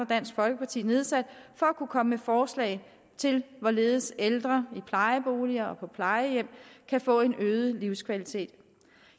dansk folkeparti nedsat for at kunne komme med forslag til hvorledes ældre i plejeboliger og på plejehjem kan få en øget livskvalitet